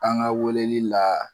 An ka weleli la